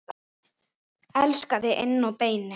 Elska þig inn að beini.